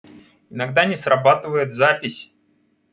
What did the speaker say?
иногда не срабатывает запись